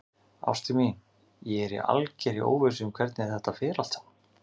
Ástin mín, ég er í algerri óvissu um hvernig þetta fer allt saman.